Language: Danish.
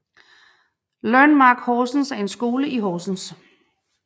Learnmark Horsens er en skole i Horsens